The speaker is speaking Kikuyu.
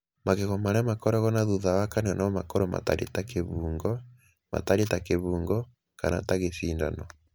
Magego marĩa makoragwo na thutha wa kanua no makorũo matariĩ ta kĩbungo, matariĩ ta kĩbungo, kana ta gĩcindano.